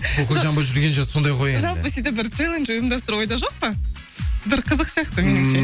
коко джамбо жүрген жер сондай ғой енді жалпы сөйтіп бір челендж ұйымдастыру ойда жоқ па бір қызық сияқты меніңше